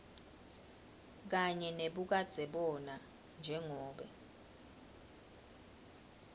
kanye nebukadzebona njengobe